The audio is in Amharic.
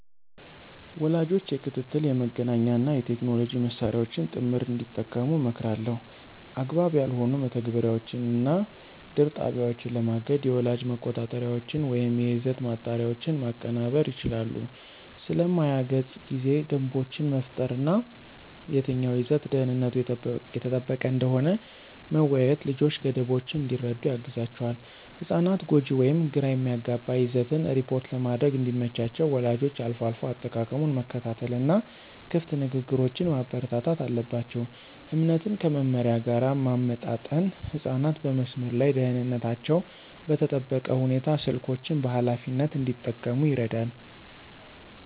ወላጆች የክትትል፣ የመገናኛ እና የቴክኖሎጂ መሳሪያዎችን ጥምር እንዲጠቀሙ እመክራለሁ። አግባብ ያልሆኑ መተግበሪያዎችን እና ድር ጣቢያዎችን ለማገድ የወላጅ መቆጣጠሪያዎችን ወይም የይዘት ማጣሪያዎችን ማቀናበር ይችላሉ። ስለ ማያ ገጽ ጊዜ ደንቦችን መፍጠር እና የትኛው ይዘት ደህንነቱ የተጠበቀ እንደሆነ መወያየት ልጆች ገደቦችን እንዲረዱ ያግዛቸዋል። ህጻናት ጎጂ ወይም ግራ የሚያጋባ ይዘትን ሪፖርት ለማድረግ እንዲመቻቸው ወላጆች አልፎ አልፎ አጠቃቀሙን መከታተል እና ክፍት ንግግሮችን ማበረታታት አለባቸው። እምነትን ከመመሪያ ጋር ማመጣጠን ህጻናት በመስመር ላይ ደህንነታቸው በተጠበቀ ሁኔታ ስልኮችን በኃላፊነት እንዲጠቀሙ ይረዳል።